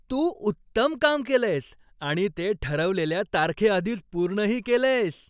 तू उत्तम काम केलंयस आणि ते ठरवलेल्या तारखेआधीच पूर्णही केलंयस.